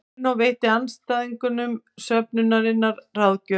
Marínó veitti aðstandendum söfnunarinnar ráðgjöf